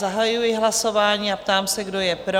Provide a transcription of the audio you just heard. Zahajuji hlasování a ptám se, kdo je pro?